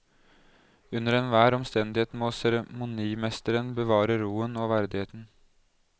Under enhver omstendighet må seremonimesteren bevare roen og verdigheten.